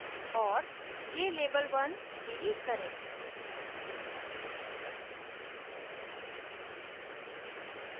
औऱ jlabel1 delete करें